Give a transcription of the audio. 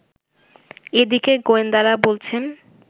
এদিকে গোয়েন্দারা বলছেন